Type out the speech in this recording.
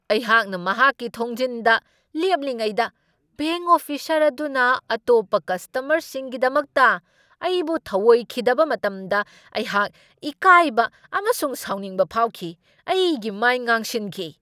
ꯑꯩꯍꯥꯛꯅ ꯃꯍꯥꯛꯀꯤ ꯊꯣꯡꯖꯤꯟꯗ ꯂꯦꯞꯂꯤꯉꯩꯗ ꯕꯦꯡꯛ ꯑꯣꯐꯤꯁꯔ ꯑꯗꯨꯅ ꯑꯇꯣꯞꯄ ꯀꯁꯇꯃꯔꯁꯤꯡꯒꯤꯗꯃꯛꯇ ꯑꯩꯕꯨ ꯊꯧꯑꯣꯏꯈꯤꯗꯕ ꯃꯇꯝꯗ ꯑꯩꯍꯥꯛ ꯏꯀꯥꯏꯕ ꯑꯃꯁꯨꯡ ꯁꯥꯎꯅꯤꯡꯕ ꯐꯥꯎꯈꯤ, ꯑꯩꯒꯤ ꯃꯥꯏ ꯉꯥꯡꯁꯤꯟꯈꯤ꯫